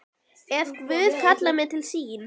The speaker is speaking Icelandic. Ef Guð kallar mig til sín.